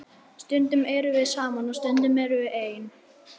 Stundum erum við saman og stundum erum við ein.